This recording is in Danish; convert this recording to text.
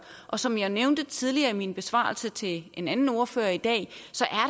og som jeg nævnte tidligere i min besvarelse til en anden ordfører i dag